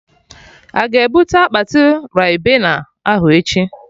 Aga ebute akpati Ribena ahụ echi?